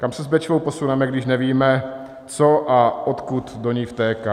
Kam se s Bečvou posuneme, když nevíme, co a odkud do ní vtéká?